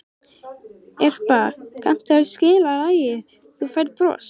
Irpa, kanntu að spila lagið „Þú Færð Bros“?